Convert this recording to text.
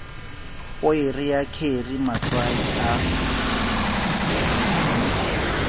poere ya kheri matswai a